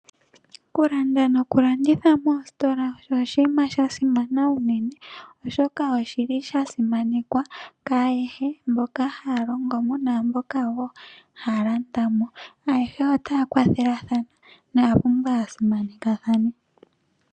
Okulanda noku landitha moositola osho oshinima sha simana unene oshoka oshili sha simanekwa kwaayehe mboka haya longomo naamboka woo haya landamo .Ayehe oraya kwathelathana no yapumbwa ya simanekathane